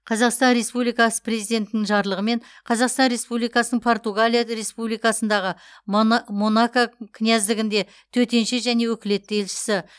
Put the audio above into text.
қазақстан республикасы президентінің жарлығымен қазақстан республикасының португалия республикасындағы монако князьдігінде төтенше және өкілетті елшісі